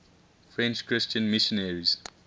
french christian missionaries